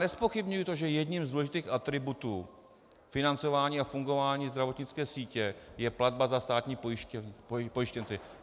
Nezpochybňuji to, že jedním z důležitých atributů financování a fungování zdravotnické sítě je platba za státní pojištěnce.